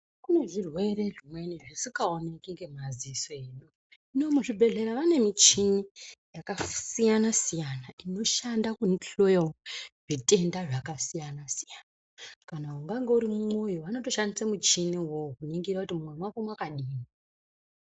Kune zvirwere zvimweni zvisikaoneki ngemadziso edu. Hino muzvibedhlera vane michini yakasiyana siyana inoshande kuhloya zvitenda zvakasiyana siyana. Kana ungange uri mwoyo vanotoshandisa muchini wona uwowo kuhloya kuti mwoyo wako wakadini.